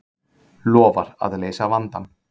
Lofar að leysa vandann